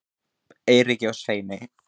Eiríki og Sveini